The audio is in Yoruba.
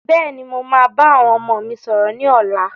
Bẹ́ẹ̀ni, mo máa bá àwọn ọmọ mi sọ̀rọ̀ ni ọ̀la.